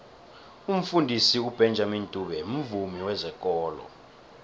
umfundisi ubenjamini dube mvumi wezekolo